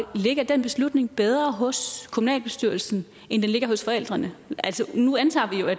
ligger den beslutning bedre hos kommunalbestyrelsen end den ligger hos forældrene altså nu antager